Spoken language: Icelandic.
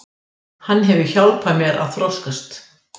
Hann hefur hjálpað mér að þroskast.